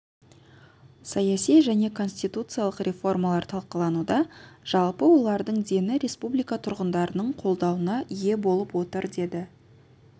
саяси және конституциялық реформалар талқылануда жалпы олардың дені республика тұрғындарының қолдауына ие болып отыр деді